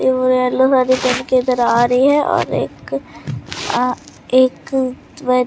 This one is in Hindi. ये वो येलो साड़ी पहन के इधर आ रही है और एक अह एक